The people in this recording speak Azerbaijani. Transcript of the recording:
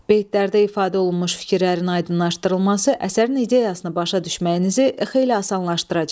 Beytlərdə ifadə olunmuş fikirlərin aydınlaşdırılması əsərin ideyasını başa düşməyinizi xeyli asanlaşdıracaq.